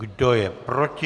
Kdo je proti?